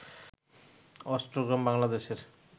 অষ্টগ্রাম বাংলাদেশের